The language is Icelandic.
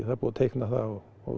búin að teikna það og